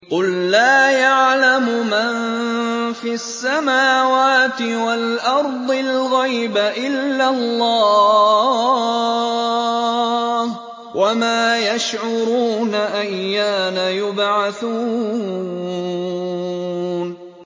قُل لَّا يَعْلَمُ مَن فِي السَّمَاوَاتِ وَالْأَرْضِ الْغَيْبَ إِلَّا اللَّهُ ۚ وَمَا يَشْعُرُونَ أَيَّانَ يُبْعَثُونَ